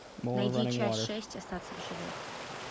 найди часть шесть остаться в живых